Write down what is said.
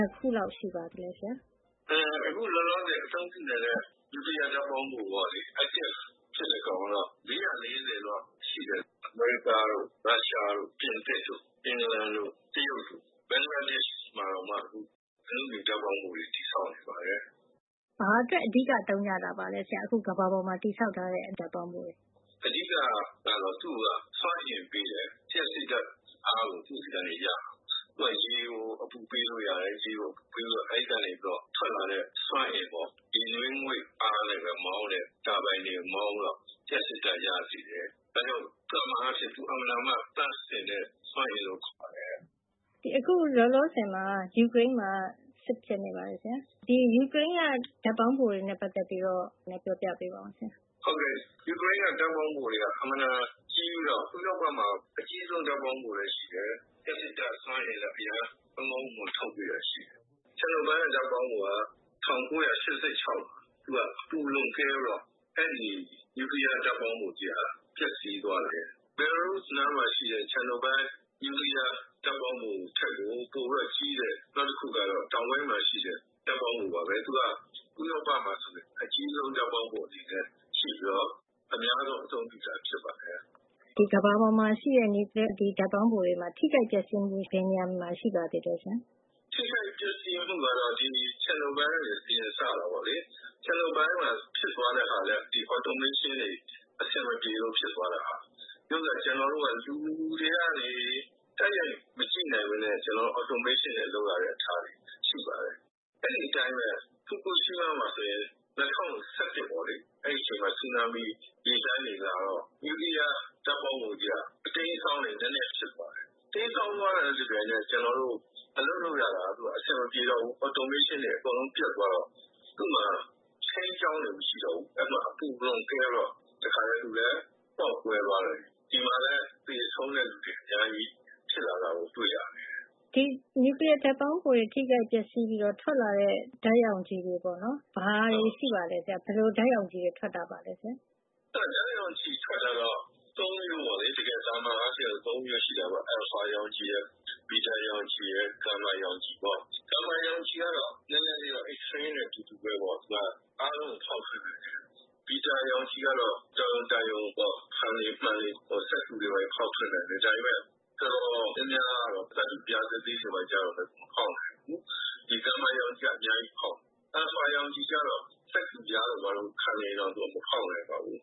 ှစ်ခုလောက် ရှိပါသလဲဆရာ။ “အခုလောလောဆယ် အသုံးပြုနေတဲ့ နျူကလီယား ဓါတ်ပေါင်းဖို active ဖြစ်တဲ့ ဓါတ်ပေါင်းဖိုက ၄၄၀ လောက်ရှိပါတယ်။ အမေရိကားတို့၊ ရုရှားတို့၊ ပြင်သစ်၊ အင်ဂလန်၊ တရုတ်တို့၊ နောက် ဘင်္ဂလားဒေ့ရှ် မှာတောင်မှ အနုမြူဓါတ်ပေါင်းဖိုတွေ တည်ဆောက် နေပါတယ်။” “ဟုတ်ကဲ့။ ဘာအတွက်အဓိက သုံးကြတာပါလဲဆရာ ကမ္ဘာမှာ အခုတည်ဆောက် ထားတဲ့ ဓါတ်ပေါင်းဖိုတွေကို” “အကြမ်းအားဖြင့်တော့ သူ့ကို သန့်ရှင်းစွမ်းအင် ထွက်တယ ် လို့ဆိုတာပေါ့။ အဓိက ကတော့ သူက စွမ်းအင်ပေးတယ်။ လ ျှပ်စစ်ဓါတ်အားကို သူ့ဆီကနေ ရတယ်။ သူက ရေကိုအပူပေးလို့ရတယ်။ ရေကို အပူပေးပြီးတော့ အဲဒီကနေ ထွက်လာတဲ့ စွမ်းအင်ပေါ့။ ရေနွေးငွေ့အားနဲ့ပဲ မောင်းတဲ့၊ တာဘိုင်တွေကို မောင်းပြီးတော့ လ ျှပ်စစ်ဓါတ်ရစေတယ်။ ဒါကြောင့် သာမန်အားဖြင့် သူက အင်မတန်သန့်စင်တဲ့ စွမ်းအင်လို့ ခေါ်တယ်။” “အခု လောလောဆယ်မှာ ယူကရိန်းမှာက စစ်ဖြစ်နေပါတယ်။ ဒီယူကရိန်းက ဓါတ်ပေါင်းဖိုတွေနဲ့ ပတ်သက်ပြီးပြောပြပေးပါဆရာ။” “ယူကရိန်းက ဓါတ်ပေါင်းဖိုတွေက အင်မတန်ကြီးပြီးတော့ ဥရောပမှာ အကြီးဆုံး ဓါတ်ပေါင်းဖိုလည်း ရှိတယ်။ လ ျှပ်စစ်ဓါတ်စွမ်းအင်လည်း အရမ်း ကောင်းကောင်းမွန်မွန်ကို ထုတ်ပေးတယ်။ ချာနိုဘိုင်း ဓါတ်ပေါင်းဖိုက ၁၉ ၈၆ တုန်းက သူက အပူလွန်ကဲပြီးတော့ အဲဒီနျူကလီယား ဓါတ်ပေါင်းဖိုကြီးက ပျက်စီးသွားတယ်။ ဘယ်လာရုစ် နိုင်ငံနားမှာ ရှိတဲ့ ချာနိုဘိုင်း နျူကလီယား ဓါတ်ပေါင်းဖိုထက်ပိုပြီး ကြီးတဲ့ နောက်တခုက တောင်ပိုင်းမှာရှိပါတယ်။ ။ သူက ဥရောပမှာ အကြီးဆုံး ဖြစ်ပြီးတော့ အများဆုံးသုံးတာ ဖြစ်ပါတယ်။ “ဒီကမ္ဘာပေါ်မှာ ရှိတဲ့ နျူကလီယား ဓါတ်ပေါင်းဖိုတွေမှာ ထိခိုက်ပျက်စီးမှု ဘယ်နေရာတွေမှာ ရှိပါသလဲ ဆရာ။” “ထိခိုက်ပျက်စီးမှုကတော့ ဒီ ချာနိုဘိုင်းကနေ အရင်စတာပေါ့လေ။ ဒီချာနိုဘိုင်းမှာဖြစ်သွားရတာကလည်း ဒီ automation တွေ အဆင်မပြေလို့ ဖြစ်သွားတာ။ ဒါပေမယ့် ကျနော်တို့က လူတွေကနေ တိုက်ရိုက်မကြည့်နိုင်ပဲနဲ့ ဒီ automation တွေနဲ့ ကြည့်ရတာလည်း ရှိပါတယ်။ အဲဒီအတိုင်းပဲ ၂၀၀၁ ခုနှစ်မှာ ဂျပန်နိုင်ငံက Fukushima ဖူကူရှီးမားမှာ ဆူနာမိရေလှိုင်းတွေလာတော့ အဲဒီ နျူကလီယား ဓါတ်ပေါင်းဖိုမှာ နဲနဲ အတိမ်းအစောင်း တွေ ဖြစ်သွားတယ်။ တိမ်းစောင်းသွားတာနဲ့ တပြိုင်နက်ထည်း ကျနော်တို့ အလုပ်လုပ်ရတာက အဆင်မပြေတော့ ဘူး။ သူ့ automation တွေ ပျက်သွားတော့ သူ့မှာ ထိန်းကျောင်းတာ မရှိတော့ဘူး။ အဲဒီတော့ သူ့မှာ အပူလွန်ကဲပြီးတော့ သူလည်း ပေါက်ကွဲသွားတယ်။ ဒီမှာလည်း သေဆုံးတဲ့သူေူတွ အများကြီး ဖြစ်လာတာကို တွေ့ရတယ်။” “နျူကလီယားဓါတ်ပေါင်းဖိုမှာ ပေါက်ကွဲမှုဖြစ်ရင် ဘာဓါတ်တွေ ထွက်လာပါလဲ ဆရာ။” “ဓါတ်ရောင်ခြည်ထွက်တာက သာမန်အားဖြင့်တော့ ၃ မျိုးရှိတာပေါ့။ အယ်လ်ဖာ ရောင်ခြည်ရယ်၊ ဘီတာရောင်ခြည်ရယ်၊ ဂါမာရောင်ခြည်ရယ်။ ဂါမာရောင်ခြည်ကတော့ နဲနဲတော့ အိပ်စရေး x-ray နဲ့တူတယ်။ အားလုံးကို ဖေါက်ထွင်းတယ်။ ဘီတာ ရောင်ခြည်ကတော့ တော်ရုံတန်ရုံပေါ့။ ဖန်တွေ၊ မှန်တွေ၊ စက္ကူတွေ ဘာတွေ ဖေါက်ထွက်နိုင်တယ်။ သတ္တုပြားသေးသေးတွေ လည်း ဖေါက်နိုင်တယ်ပေါ။့ ဒီ အယ်လ်ဖာရောင်ခြည်ကတော့ စက္ကူပြားတို့ ဘာတို့ ခံနေရင်တောင် သူက မဖေါက်နိုင်ပါဘူး